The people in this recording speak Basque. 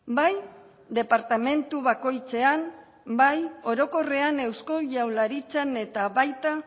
bai departamentu bakoitzean bai orokorrean eusko jaurlaritzan eta baita